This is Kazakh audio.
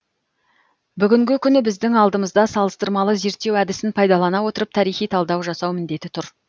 бүгінгі күні біздің алдымызда салыстырмалы зерттеу әдісін пайдалана отырып тарихи талдау жасау міндеті тұр